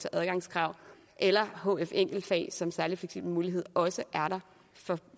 adgangskrav eller hf enkeltfag som en særlig fleksibel mulighed også er der for